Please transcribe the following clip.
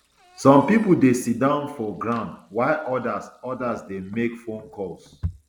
some pipo dey siddon for ground while odas odas dey make phone calls